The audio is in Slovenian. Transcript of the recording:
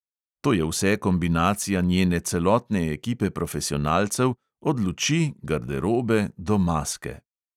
To je vse kombinacija njene celotne ekipe profesionalcev, od luči, garderobe do maske ...